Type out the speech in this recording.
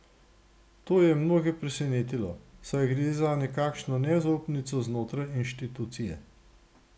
To je mnoge presenetilo, saj gre za nekakšno nezaupnico znotraj inštitucije.